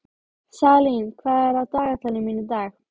Salín, hvað er á dagatalinu mínu í dag?